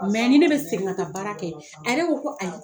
ni ne bɛ segin ka taa baara kɛ a yɛrɛ ko ko ayi